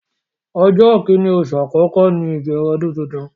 Ọjọ́ kini oṣù àkọ́kọ́ ní ìbẹ̀rẹ̀ ọdún tuntun.